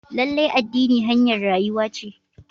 Lallai addini hanyar rayuwa ce.